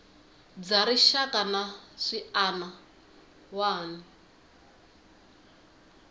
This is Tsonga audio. bya rixaka na swiana wana